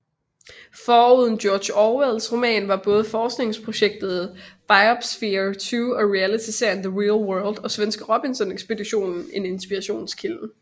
Foruden George Orwells roman var både forskningsprojektet Biosphere 2 og realityseriene The Real World og svenske Robinson Ekspeditionen en inspirationskilde